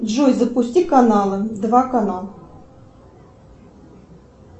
джой запусти каналы два канал